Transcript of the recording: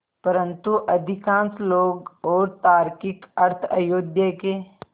परन्तु अधिकांश लोग और तार्किक अर्थ अयोध्या के